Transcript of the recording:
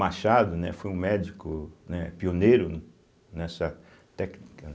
Machado, né, foi um médico, né, pioneiro nessa técnica, né.